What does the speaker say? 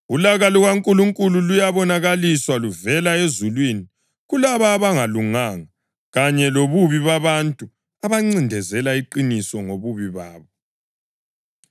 Ulaka lukaNkulunkulu luyabonakaliswa luvela ezulwini kulabo abangalunganga kanye lobubi babantu abancindezela iqiniso ngobubi babo,